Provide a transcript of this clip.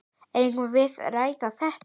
Eigum við að ræða þetta?